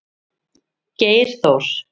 Geir Þór.